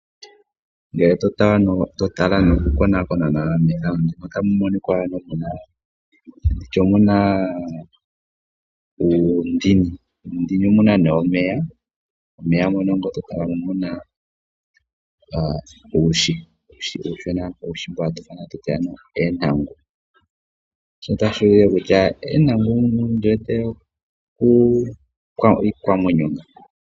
Ngele totala nokukonaakona lela nawa methano otamu monika ano muna uundini, uundini omuna nee omeya ,momeya ngee oto tala mo omuna uuhi uushona mbu hatu ithana atuti eentangu, shono tashi ulike kutya eentangu nadho iikwamwenyo.